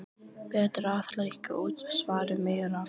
Betra að hækka útsvarið meira